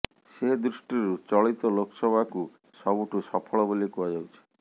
ସେ ଦୃଷ୍ଟିରୁ ଚଳିତ ଲୋକସଭାକୁ ସବୁଠୁ ସଫଳ ବୋଲି କୁହାଯାଉଛି